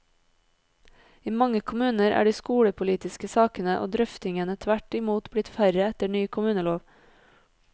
I mange kommuner er de skolepolitiske sakene og drøftingene tvert imot blitt færre etter ny kommunelov.